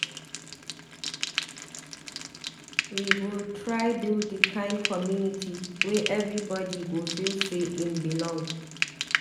We go try build di kind community wey everybodi go feel sey im belong.